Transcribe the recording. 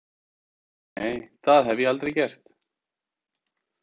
Nei, það hefði ég aldrei gert.